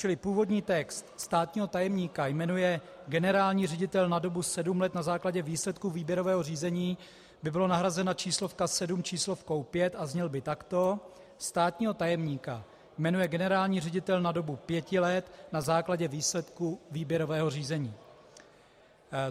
Čili původní text "státního tajemníka jmenuje generální ředitel na dobu 7 let na základě výsledků výběrového řízení" by byla nahrazena číslovka 7 číslovkou 5 a zněl by takto: "státního tajemníka jmenuje generální ředitel na dobu 5 let na základě výsledků výběrového řízení".